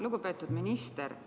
Lugupeetud minister!